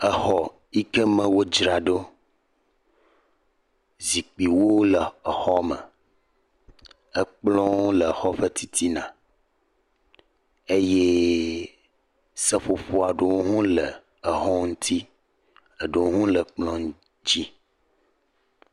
Exɔ yi ke me wodzra ɖo. Zikpiwo le exɔme, ekplɔ̃wo le xɔ ƒe titina eye seƒoƒo aɖewo hɔ̃ wole exɔ ŋuti. Eɖewo hɔ̃ wole ekplɔ̃ ŋuti.